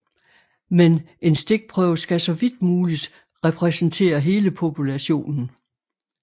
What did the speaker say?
Men en stikprøve skal så vidt muligt repræsentere hele populationen